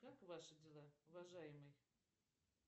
как ваши дела уважаемый